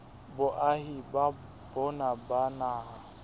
boahi ba bona ba naha